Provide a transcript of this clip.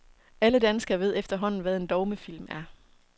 Alle danskere ved efterhånden, hvad en dogmefilm er.